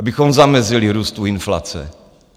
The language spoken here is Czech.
Abychom zamezili růstu inflace.